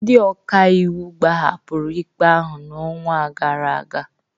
Ndị ọka iwu gbahapụrụ ikpe ahụ n'ọnwa gara aga